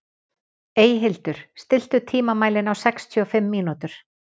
Eyhildur, stilltu tímamælinn á sextíu og fimm mínútur.